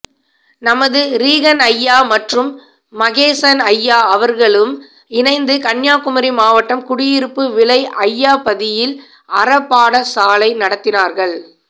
நமது ரீகன்அய்யா மற்றும் மகேசன் அய்யா அவர்களும் இணைந்து கன்னியாகுமரி மாவட்டம் குடியிருப்பு விளை அய்யா பதியில் அறப்பாடசாலை நடத்தினார்கள்